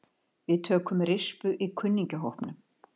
Við tökum rispu í kunningjahópnum.